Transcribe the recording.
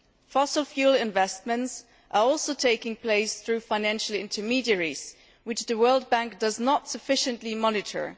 Fossil fuel investments are also taking place through financial intermediaries which the World Bank does not sufficiently monitor.